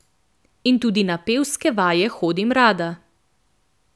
In tudi na pevske vaje hodim rada.